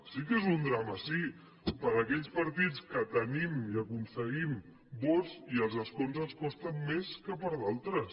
sí que és un drama sí per a aquells partits que tenim i aconseguim vots i els escons ens costen més que per a d’altres